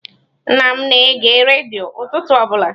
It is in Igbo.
Nna m na-ege redio ụtụtụ ọbụla.